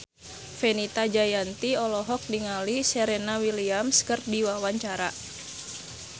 Fenita Jayanti olohok ningali Serena Williams keur diwawancara